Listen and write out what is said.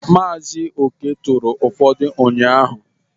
Mazị Okey turu ufọdu ụnyahụ.